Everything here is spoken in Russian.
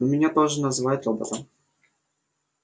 ну меня тоже называют роботом